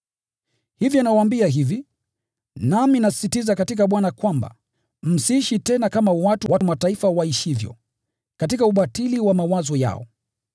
Hivyo nawaambia hivi, nami nasisitiza katika Bwana kwamba, msiishi tena kama watu wa Mataifa waishivyo, katika ubatili wa mawazo yao.